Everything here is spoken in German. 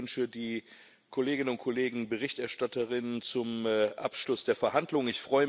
Ich beglückwünsche die Kolleginnen und Kollegen BerichterstatterInnen zum Abschluss der Verhandlungen.